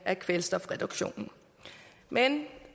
af kvælstofreduktionen men